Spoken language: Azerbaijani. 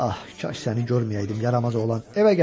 Ah, kaş səni görməyəydim, yaramaz oğlan, evə gəl!